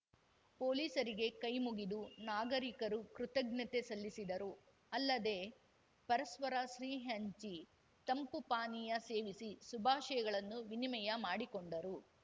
ಪೊಲೀಸರಿಗೆ ಕೈ ಮುಗಿದು ನಾಗರಿಕರು ಕೃತಜ್ಞತೆ ಸಲ್ಲಿಸಿದರು ಅಲ್ಲದೆ ಪರಸ್ಪರ ಸಿಹಿ ಹಂಚಿ ತಂಪು ಪಾನೀಯ ಸೇವಿಸಿ ಸುಭಾಶಯಗಳನ್ನು ವಿನಿಮಯ ಮಾಡಿಕೊಂಡರು